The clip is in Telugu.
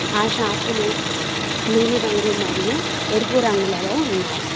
ఆ షాపులు నీలిరంగు మరియు ఎరుపు రంగులలో ఉన్నాయి.